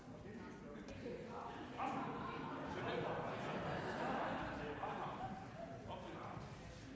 herre herre